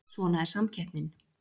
Svona er samkeppnin